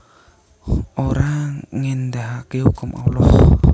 Ora ngendahake hukum Allah